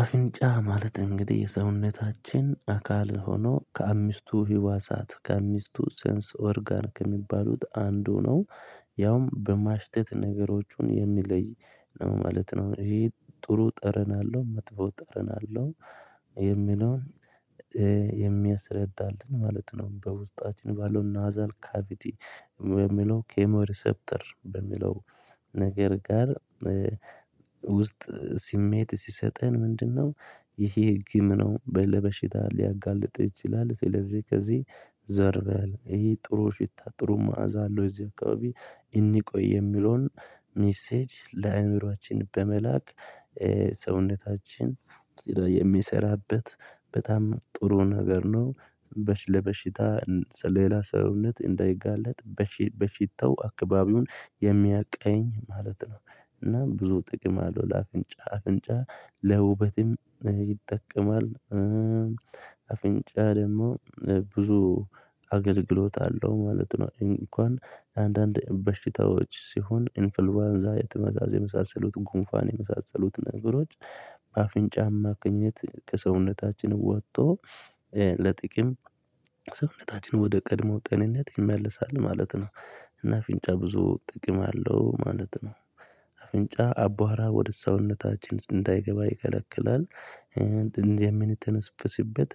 አፍንጫ ማለት እንግዲህ የሰውነታችን አካል ሆኖ ከአምስቱ ህዋሳት ከአምስቱ ሰንስ ኦርጋን ከሚባሉት አንዱ ነው። ያውም በማሽተት ነገሮቹን የሚለይ ነው ማለት ነው። ይሄ ጥሩ ጠረን አለው መጥፎ ጠረን አለው የሚለውን የሚያስረዳልን ማለት ነው። በውስጣችን ባለው ናዛል ካቪቲ በሚለው ኬሞ ሪሰፕተር በሚለው ነገር ጋር ውስጥ ስሜት ሲሰጠን ምንድነው? ይሄ ግም ነው በለበሽታ ሊያጋልጥ ይችላል። ስለዚህ ከዚህ ዘር በል ይሄ ጥሩ ሽታ ጥሩ መዓዛ አለው። እዚህ አካባቢ እንቆይ የሚለውን ሚሴጅ ለአእምሮአችን በመላክ ሰውነታችን ስራ የሚሰራበት በጣም ጥሩ ነገር ነው። በሽ ለበሽታ ሌላ ሰውነት እንዳይጋለጥ በሽተው አካባቢውን የሚያቃኝ ማለት ነው። እና ብዙ ጥቅም አለው። ለአፍንጫ አፍንጫ ለውበትም ይጠቀማል። አፍንጫ ደግሞ ብዙ አገልግሎት አለው ማለት ነው። እንኳን አንዳንድ በሽታዎች ሲሆን ኢንፍልባንዛ የተመዛዘ የመሳሰሉት ጉንፋን የመሳሰሉት ነገሮች። በአፍንጫ አማካኝነት ከሰውነታችን ወጥቶ ለጥቂም ሰውነታችን ወደ ቀድሞው ጤንነት ይመለሳል ማለት ነው። እና አፍንጫ ብዙ ጥቅም አለው ማለት ነው። አፍንጫ አቧራ ወደ ሰውነታችን እንዳይገባ ይከለክላል እንደዚህ የምንተነፍስበት